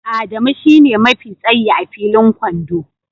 Adamu shine mafi tsayi a filin kwando